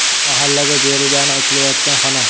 Mahallaga berilgani aytilayotgan xona.